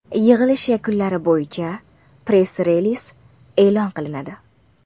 Yig‘ilish yakunlari bo‘yicha press-reliz e’lon qilinadi.